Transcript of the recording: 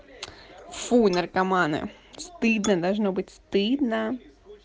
фу наркоманы стыдно должно быть стыдно